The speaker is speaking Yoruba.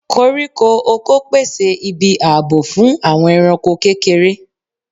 Koriko ọkọ, pèsè ibi ààbò fún àwọn ẹranko kékeré